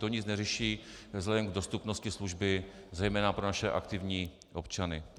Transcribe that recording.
To nic neřeší vzhledem k dostupnosti služby zejména pro naše aktivní občany.